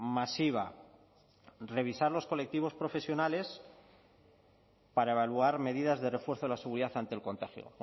masiva revisar los colectivos profesionales para evaluar medidas de refuerzo de la seguridad ante el contagio